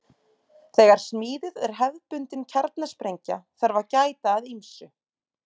Þegar smíðuð er hefðbundin kjarnasprengja þarf að gæta að ýmsu.